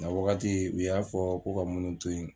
Ŋ'a wagati u y'a fɔ ko ka munnu to ye